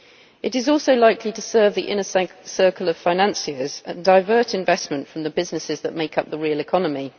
It is also likely to serve the inner circle of financiers and to divert investment from the businesses that make up the real economy.